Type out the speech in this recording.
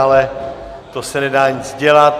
Ale to se nedá nic dělat.